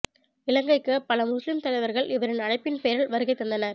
இலங்கைக்கு பல முஸ்லிம் தலைவர்கள் இவரின் அழைப்பின் பேரில் வருகை தந்தனர்